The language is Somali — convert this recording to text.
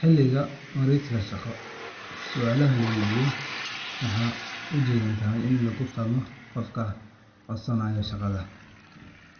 Xilliga wareysiga shaqo, su’aalaha la weydiiyo waxay ujeedadoodu tahay in lagu fahmo qofka codsanaya shaqada,